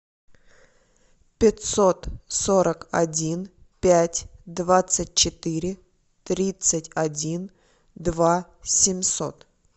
пятьсот сорок один пять двадцать четыре тридцать один два семьсот